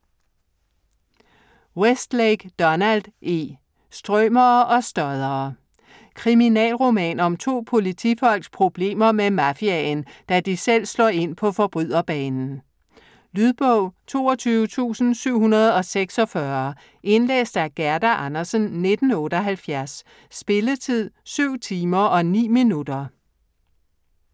Westlake, Donald E.: Strømere og stoddere Kriminalroman om to politifolks problemer med mafiaen, da de selv slår ind på forbryderbanen. Lydbog 22746 Indlæst af Gerda Andersen, 1978. Spilletid: 7 timer, 9 minutter.